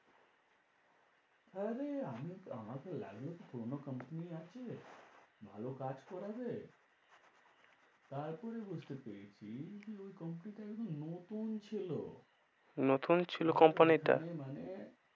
আরে, আমি তো, আমার তো লাগনোতে পুরনো company আছে, ভালো কাজ করাবে। তারপরে বুঝতে পেরেছি কি ওই company টা একদম নতুন ছিল। নতুন ছিল company টা? মানে।